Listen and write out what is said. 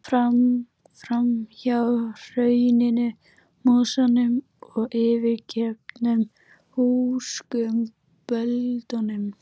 Búlandstindur í Berufirði, séður suður yfir fjörðinn.